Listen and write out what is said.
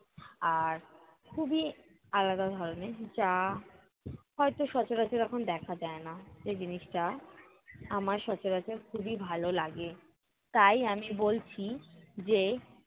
আর খুবই আলাদা ধরনের যা হয়ত সচরাচর এখন দেখা যায় না। যে জিনিসটা আমার সচরাচর খুবই ভালো লাগে। তাই আমি বলছি যে